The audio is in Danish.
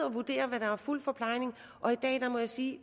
og vurdere hvad der er fuld forplejning må jeg sige